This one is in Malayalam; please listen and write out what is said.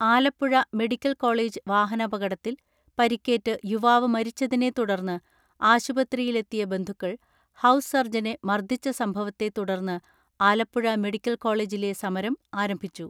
ആലപ്പുഴ മെഡിക്കൽ കോളേജ് വാഹനപകടത്തിൽ പരിക്കേറ്റ് യുവാവ് മരിച്ചതിനെ തുടർന്ന് ആശുപത്രിയിലെത്തിയ ബന്ധുക്കൾ ഹൗസ് സർജനെ മർദ്ദിച്ച സംഭവത്തെ തുടർന്ന് ആലപ്പുഴ മെഡിക്കൽ കോളേജിലെ സമരം ആരംഭിച്ചു.